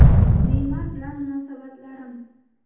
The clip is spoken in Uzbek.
Neymar bilan munosabatlarim?